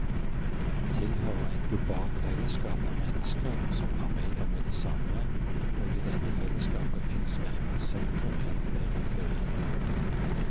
Han tilhører et globalt fellesskap av mennesker som arbeider med det samme, og i dette fellesskapet fins verken sentrum eller periferi.